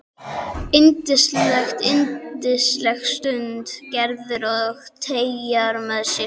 Yndislegt, yndislegt stundi Gerður og teygaði að sér sólina.